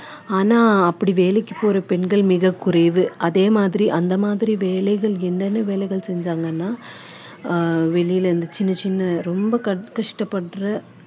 ஆனா அப்படி வேலைக்கு போற பெண்கள் மிகக் குறைவு அதே மாதிரி அந்த மாதிரி வேலைகள் என்னென்ன வேலைகள் செஞ்சாங்கன்னா அஹ் வெளியில இருந்து சின்ன சின்ன ரொம்ப க~ கஷ்டப்படுற